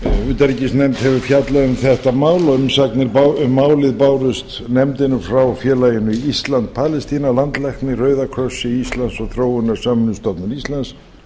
utanríkisnefnd hefur fjallað um þetta mál umsagnir um málið bárust nefndinni frá félaginu ísland palestína landlækni rauða krossi íslands og þróunarsamvinnustofnun íslands